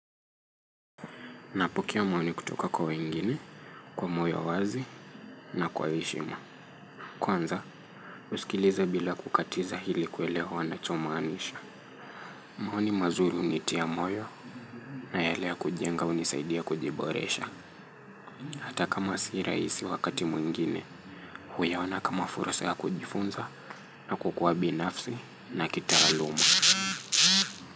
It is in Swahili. Napokaa maoni kutoka kwa wengine, kwa moyo wazi, na kwa heshima. Kwanza, uskilize bila kukatiza hili kelewa wanachomanisha. Mahoni mazuri hunitia moyo, na yale ya kujenga unisaidia kujiboresha. Hata kama si rahisi wakati mwingine, huyaona kama fursa ya kujifunza, na kukua binafsi, na kita aluma.